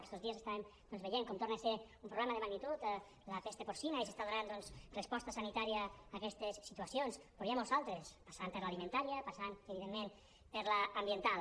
aquests dies estàvem doncs veient com torna a ser un problema de magnitud la pesta porcina i s’està donant doncs resposta sanitària a aquestes situacions però n’hi ha moltes d’altres passant per l’alimentària passant evidentment per l’ambiental